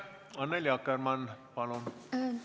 Annely Akkermann, palun!